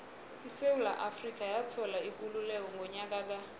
isewula afrika yathola ikululeko ngonyaka ka